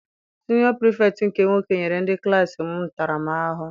Siniọ Pirifetktị nke nwoke nyere ndị klassi m ntara m ahụhụ.